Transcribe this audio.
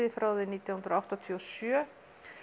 frá árinu nítján hundruð áttatíu og sjö